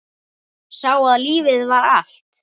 Sá að lífið var allt.